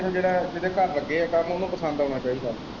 ਬਸ ਜਿਹੜੇ ਇੰਨੂ ਜਿਹਦੇ ਘਰ ਲੱਗੇ ਆ ਕਰਨ ਉਹਨੂੰ ਪਸੰਦ ਆਉਣਾ ਚਾਹੀਦਾ।